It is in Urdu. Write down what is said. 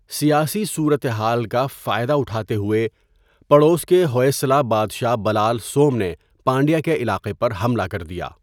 سیاسی صورتحال کا فائدہ اٹھاتے ہوئے، پڑوس کے ہوئسلہ بادشاہ بَلال سوم نے پانڈیا کے علاقے پر حملہ کر دیا۔